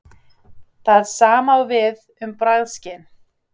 Það sama á við um bragðskyn.